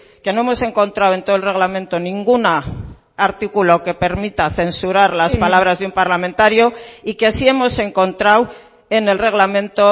que no hemos encontrado en todo el reglamento ningún artículo que permita censurar las palabras de un parlamentario y que sí hemos encontrado en el reglamento